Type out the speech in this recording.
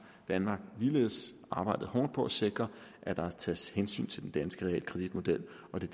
danmark ligeledes arbejdet hårdt på at sikre at der tages hensyn til den danske realkreditmodel og det